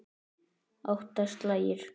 Átta slagir.